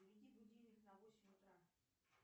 заведи будильник на восемь утра